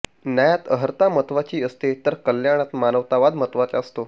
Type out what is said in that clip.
न्यायात अर्हता महत्वाची असते तर कल्याणात मानवतावाद महत्त्वाचा असतो